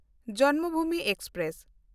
Janmabhoomi express